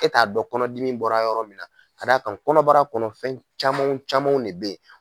E t'a dɔn kɔnɔdimi bɔra yɔrɔ min na ka d'a kan kɔnɔbara kɔnɔ fɛn camanw camanw de bɛ